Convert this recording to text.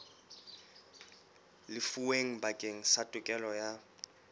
lefuweng bakeng sa tokelo ya